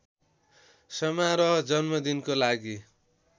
समारोह जन्मदिनको लागि